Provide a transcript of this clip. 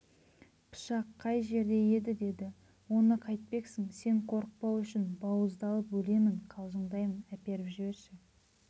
пышақ қай жерде еді деді оны қайтпексің сен қорықпау үшін бауыздалып өлемін қалжыңдаймын әперіп жіберші